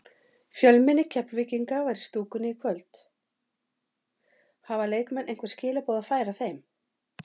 Fjölmenni Keflvíkinga var í stúkunni í kvöld, hafa leikmenn einhver skilaboð að færa þeim?